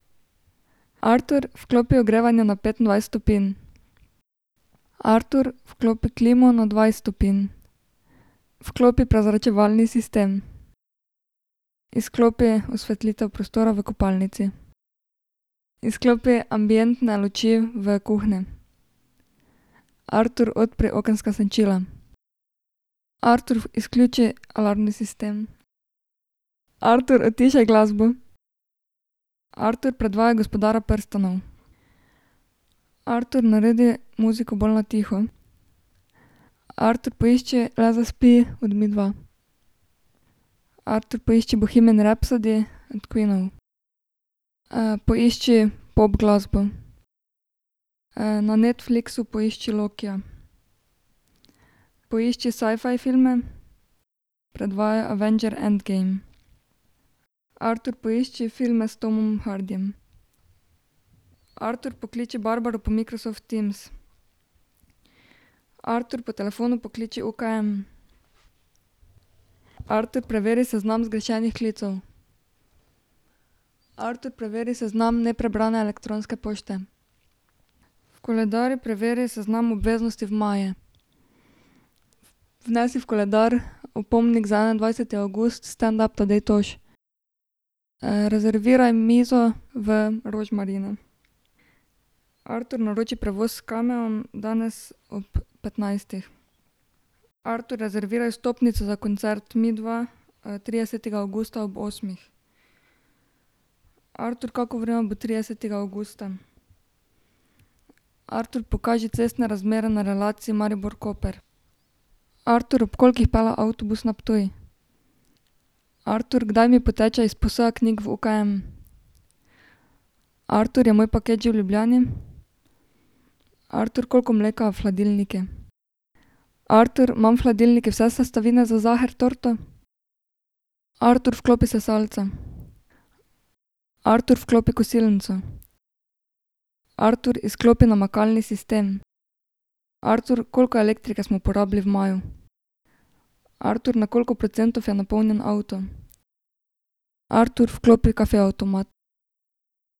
Artur, vklopi ogrevanje na petindvajset stopinj. Artur, vklopi klimo na dvajset stopinj. Vklopi prezračevalni sistem. Izklopi osvetlitev prostora v kopalnici. Izklopi ambientne luči v kuhinji. Artur, odpri okenska senčila. Artur, izključi alarmni sistem. Artur, utišaj glasbo. Artur predvajaj Gospodarja prstanov. Artur, naredi muziko bolj na tiho. Artur, poišči Le zaspi od Midva. Artur, poišči Bohemian Rhapsody od Queenov. poišči pop glasbo. na Netflixu poišči Lokija. Pošči sci-fi filme. Predvajaj Avenger End Game. Artur, poišči filma s Tomom Hardyjem. Artur, pokliči Barbaro po Microsoft Teams. Artur, po telefonu pokliči UKM. Artur, preveri seznam zgrešenih klicev. Artur, preveri seznam neprebrane elektronske pošte. V koledarju preveri seznam obveznosti v maju. Vnesi v koledar opomnik za enaindvajseti avgust standup Tadej Toš. rezerviraj mizo v Rožmarinu. Artur, naroči prevoz s Cameom danes ob petnajstih. Artur, rezerviraj vstopnice za koncert Midva, tridesetega avgusta ob osmih. Artur, kako vreme bo tridesetega avgusta? Artur, pokaži cestne razmere na relaciji Maribor-Koper. Artur, ob kolikih pelje avtobus na Ptuj? Artur, kdaj mi poteče izposoja knjig v UKM? Artur, je moj paket že v Ljubljani? Artur, koliko mleka je v hladilniku? Artur, imam v hladilniku vse sestavine za saher torto? Artur, vklopi sesalca. Artur, vklopi kosilnico. Artur, izklopi namakalni sistem. Artur, koliko elektrike smo porabili v maju? Artur, na koliko procentov je napolnjen avto? Artur, vklopi kofe avtomat.